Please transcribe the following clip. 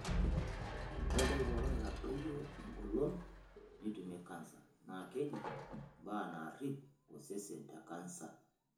Ore entoki pookin naitadoyio engolon nitumie kansa naa keji mbaa naarip osesen te kanasa.